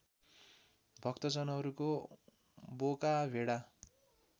भक्तजनहरूको बोका भेडा